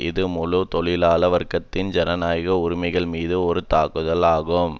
இது முழு தொழிலாள வர்க்கத்தின் ஜனநாயக உரிமைகள்மீது ஒரு தாக்குதல் ஆகும்